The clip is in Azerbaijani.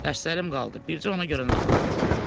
Dərslərim qaldı, bircə ona görə narahatam.